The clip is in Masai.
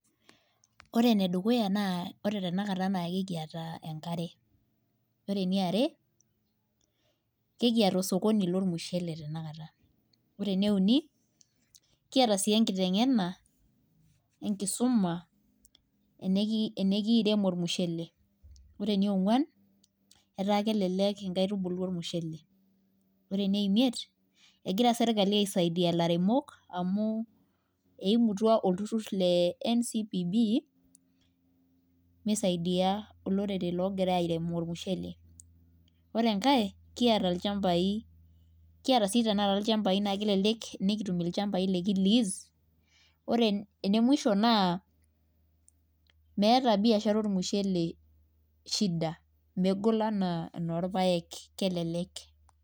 Ore ene dukuya naa ore tenakata naa ekiata enkare. ore eniare, nikiata orsokoni lormushele tenakata. ore ene uni kiata sii enkiteng'na enkisuma. enikiirem, olmushele. ore enionguan etaa kelelek inkaitubulu olmushele. ore ene imiet egira sirkali aisaidia ilairemok amu eimutua olturur le ncbb. misaidia olorere loogira airem olmushele. ore enkae kiata ilchampai .kiata sii te akata ilchampai. pre ene musho naa meeta biashara olmusshele shida. megol anaa enorpaek. kelelek.